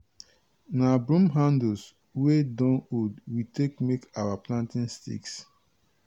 na broom handles wey don old we take make our planting sticks.